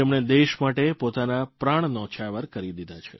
જેમણે દેશ માટે પોતાના પ્રાણ ન્યોછાવર કરી દીધા